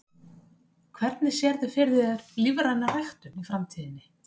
Hvernig sérðu fyrir þér lífræna ræktun í framtíðinni?